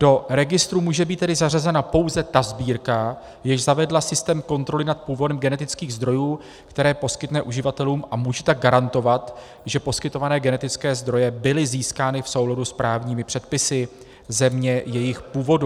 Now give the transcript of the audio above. Do registru může být tedy zařazena pouze ta sbírka, jež zavedla systém kontroly nad původem genetických zdrojů, které poskytne uživatelům, a může tak garantovat, že poskytované genetické zdroje byly získány v souladu s právními předpisy země jejich původu.